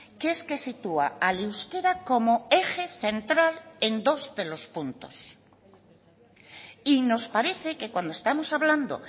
que es que sitúa al euskera como eje central en dos de los puntos y nos parece que cuando estamos hablando